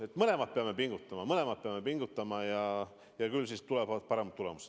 Me mõlemad peame pingutama, mõlemad peame pingutama ja küll siis tulevad paremad tulemused.